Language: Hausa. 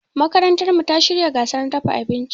Makarantarmu ta shirya gasar dafa abinci.